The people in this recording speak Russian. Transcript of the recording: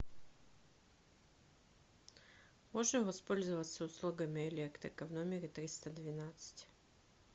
можно воспользоваться услугами электрика в номере триста двенадцать